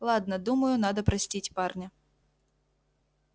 ладно думаю надо простить парня